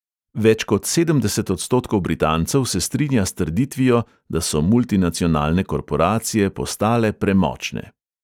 Več kot sedemdeset odstotkov britancev se strinja s trditvijo, da so multinacionalne korporacije postale premočne.